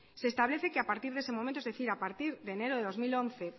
se establece que a partir de ese momento es decir a partir de enero del dos mil once